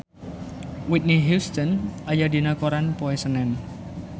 Whitney Houston aya dina koran poe Senen